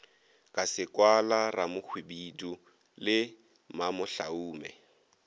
ka sekwala ramohwibidu le mamohlaume